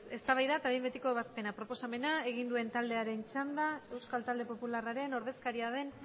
eztabaida eta behin betiko ebazpena proposamena egin duen taldearen txanda euskal talde popularraren ordezkaria den